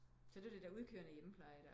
Så der var det er udekørende hjemmepleje